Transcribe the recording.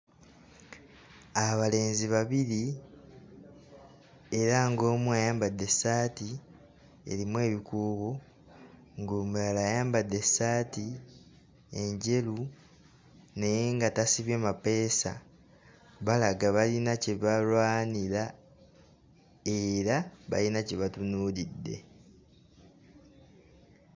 Abalenzi babiri era ng'omu ayambadde essaati erimu ebikuubo ng'omulala ayambadde essaati enjeru naye nga tasibye mapeesa balaga bayina kye balwanira era bayina kye batunuulidde.